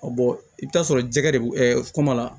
bɔn i bɛ t'a sɔrɔ jɛgɛ de bɛ kɔma la